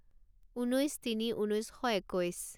ঊনৈছ তিনি ঊনৈছ শ একৈছ